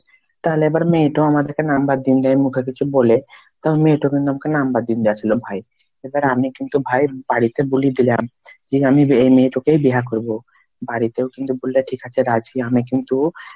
তাহলে এবার মেয়েটো আমাদেকে number দিন দেয় মুখে কিছু বলে কারণ মেয়েটা কিন্তু আমাকে number দীনদিয়াছিল ভাই, এবার আমি কিন্তু ভাই বাড়িতে বুলে দিলাম যে আমি এই মেয়েটাকেই বিহা করবো বাড়িতে ও কিন্তু বলবে ঠিক আছে রাজি, আমি কিন্তু,